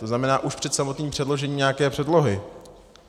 To znamená už před samotným předložením nějaké předlohy.